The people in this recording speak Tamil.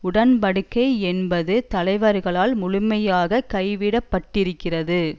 உடன் படிக்கை என்பது தலைவர்களால் முழுமையாக கைவிடப்பட்டிருக்கிறது